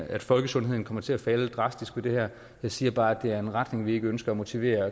at folkesundheden kommer til at falde drastisk med det her jeg siger bare at det er en retning vi ikke ønsker at motivere at